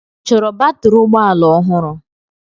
Ị chọrọ batrị ụgbọ ala ọhụrụ?